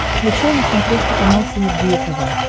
включай на смотрешке канал синергия тв